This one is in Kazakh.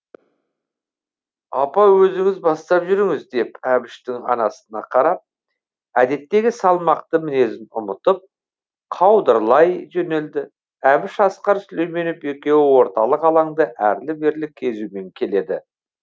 апа өзіңіз бастап жүріңіз деп әбіштің анасына қарап әдеттегі салмақты мінезін ұмытып қаудырлай жөнелді әбіш асқар сүлейменов екеуі орталық алаңды әрлі берлі кезумен келеді